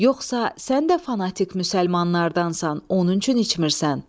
yoxsa sən də fanatik müsəlmanlardansan, onun üçün içmirsən?